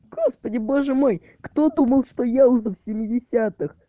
господи боже мой кто думал что я уже в семидесятых